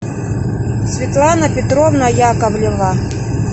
светлана петровна яковлева